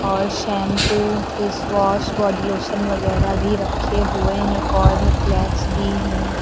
और shampoo face wash body lotion वगैरा भी रखे हुए हैं कॉर्नफ्लेक्स भी हैं।